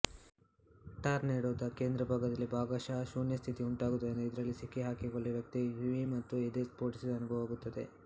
ಟಾರ್ನೆಡೋದ ಕೇಂದ್ರಭಾಗದಲ್ಲಿ ಭಾಗಶಃ ಶೂನ್ಯಸ್ಥಿತಿ ಉಂಟಾಗುವುದರಿಂದ ಇದರಲ್ಲಿ ಸಿಕ್ಕಿಹಾಕಿಕೊಳ್ಳುವ ವ್ಯಕ್ತಿಗೆ ಕಿವಿ ಮತ್ತು ಎದೆ ಸ್ಪೋಟಿಸಿದ ಅನುಭವವಾಗುತ್ತದೆ